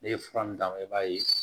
Ne ye fura min d'a ma i b'a ye